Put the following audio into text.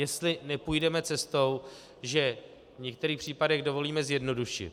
Jestli nepůjdeme cestou, že v některých případech dovolíme zjednodušit.